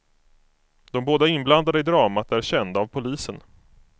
De båda inblandade i dramat är kända av polisen.